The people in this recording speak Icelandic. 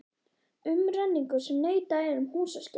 Umrenningur sem neitað er um húsaskjól.